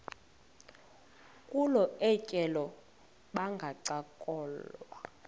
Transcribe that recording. kolu tyelelo bangancokola